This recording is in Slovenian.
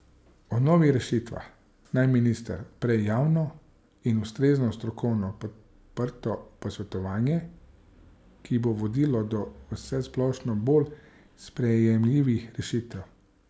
O novih rešitvah naj minister odpre javno in ustrezno strokovno podprto posvetovanje, ki bo vodilo do vsesplošno bolj sprejemljivih rešitev.